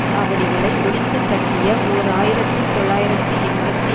சாவடிகளை ஒழித்துக்கட்டிய ஓர் ஆயிரத்தி தொள்ளாயிரத்தி எண்பத்தி